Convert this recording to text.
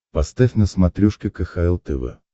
поставь на смотрешке кхл тв